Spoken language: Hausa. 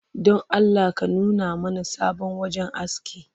Don Allah ka nuna mana sabon wajen aski